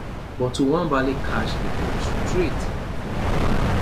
but nwabali catch di ball straight for im hand